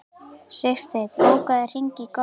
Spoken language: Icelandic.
Sigsteinn, bókaðu hring í golf á þriðjudaginn.